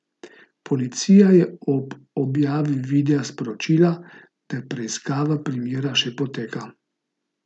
Policija je ob objavi videa sporočila, da preiskava primera še poteka.